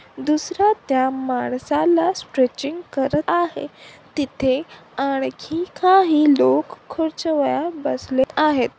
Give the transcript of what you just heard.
दुसर्‍या त्या माणसाला स्ट्रेचिंग करत आहे. तिथे आणखी काही लोक खुर्च्यांवर बसले आहेत.